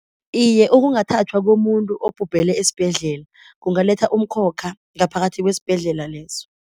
Iye ukungathathwa komuntu obhubhele esibhedlela kungaletha umkhokha ngaphakathi kwesibhedlela leso.